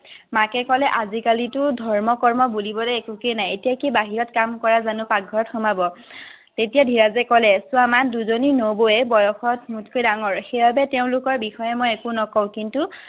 মাকে ক'লে আজি কালিতো ধৰ্ম কৰ্ম বুলিবলৈ একোৱেই নাই এতিয় কি বাহিৰত কাম কৰা জানু ভিতৰত সোমাব তেতিয়া ধীৰজে কলে চোৱা মা দুজনী নবৌৱে বয়সত মোতকৈ ডাঙৰ তেওঁ লোকৰ বিষয়ে মই একো নকওঁ কিন্তু